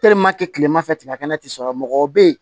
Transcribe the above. kilema fɛ tigɛ kɛnɛ te sɔrɔ mɔgɔ be yen